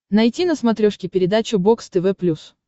найти на смотрешке передачу бокс тв плюс